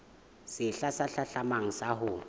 sehla se hlahlamang sa ho